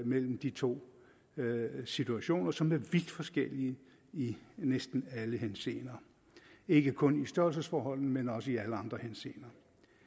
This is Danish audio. mellem de to situationer som er vidt forskellige i næsten alle henseender ikke kun i størrelsesforhold men også i alle andre henseender